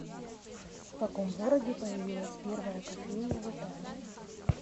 в каком городе появилась первая кофейня в италии